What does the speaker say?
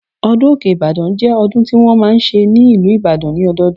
Ọdún Òkè Ìbàdàn jẹ́ ọdún tí wọ́n máa ń ṣe ní ìlú Ìbàdàn ní ọdọọdún